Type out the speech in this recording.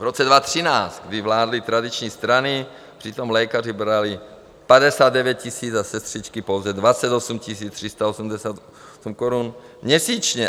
V roce 2013, kdy vládly tradiční strany, přitom lékaři brali 59 000 a sestřičky pouze 28 388 korun měsíčně.